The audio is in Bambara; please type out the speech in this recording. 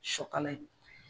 Shɔkala ye.